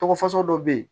Tɔgɔ fasugu dɔ bɛ ye